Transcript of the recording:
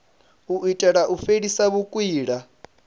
u itela u fhelisa vhukwila